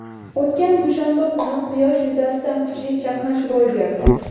O‘tgan dushanba kuni quyosh yuzasida kuchli chaqnash ro‘y berdi.